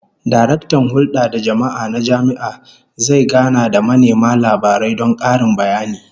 Daraktan Hulda da Jama'a na jami'a zai gana da manema labarai don karin bayani